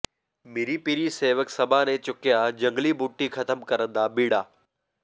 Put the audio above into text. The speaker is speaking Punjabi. ਮੀਰੀ ਪੀਰੀ ਸੇਵਕ ਸਭਾ ਨੇ ਚੁੱਕਿਆ ਜੰਗਲੀ ਬੂਟੀ ਖਤਮ ਕਰਨ ਦਾ ਬੀੜਾ